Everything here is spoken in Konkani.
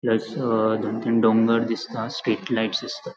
यास दोन तीन डोंगर दिसता स्ट्रीट लाइट्स दिसता.